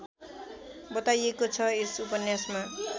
बताइएको छ यस उपन्यासमा